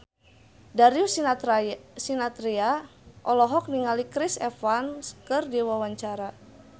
Darius Sinathrya olohok ningali Chris Evans keur diwawancara